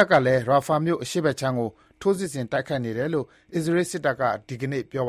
ပ်ကလည်း Rafah မြို့ အရှေ့ခြမ်းကို ထိုးစစ်ဆင် တိုက်ခိုက်နေတယ်လို့ အစ္စရေးစစ်တပ်က ဒီကနေ့ ပြောပါ